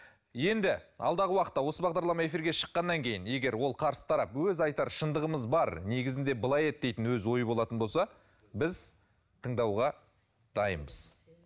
енді алдағы уақытта осы бағдарлама эфирге шыққаннан кейін егер ол қарсы тарап өз айтар шындығымыз бар негізінде былай еді дейтін өз ойы болатын болса біз тыңдауға дайынбыз